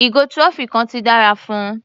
Ìgò trophy kan ti dára fún un.